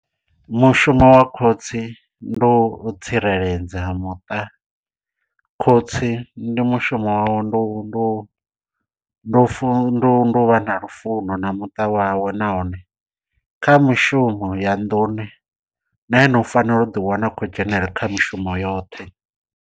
Mushumo wa khotsi ndu tsireledza muṱa khotsi ndi mushumo wawe ndi u ndi u fu ndi u vha na lufuno na muṱa wawe nahone kha mishumo ya nḓuni na ene u fanela u ḓi wana u khou dzhenelela kha mishumo yoṱhe.